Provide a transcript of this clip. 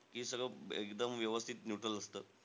की सगळं एकदम व्यवस्थित neutral असतं?